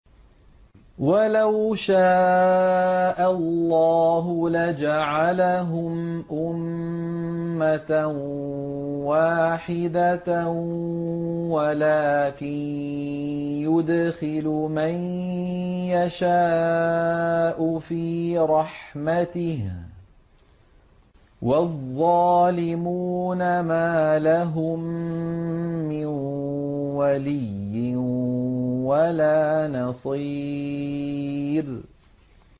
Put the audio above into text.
وَلَوْ شَاءَ اللَّهُ لَجَعَلَهُمْ أُمَّةً وَاحِدَةً وَلَٰكِن يُدْخِلُ مَن يَشَاءُ فِي رَحْمَتِهِ ۚ وَالظَّالِمُونَ مَا لَهُم مِّن وَلِيٍّ وَلَا نَصِيرٍ